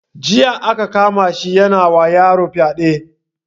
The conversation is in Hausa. Jiya aka kama shi yana wa yaron fyade